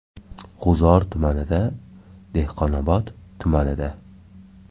G‘uzor tumanida: Dehqonobod tumanida: .